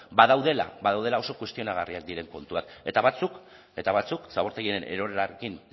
badaudela oso kuestionagarriak diren kontuak eta batzuk zabortegiaren erorketarekin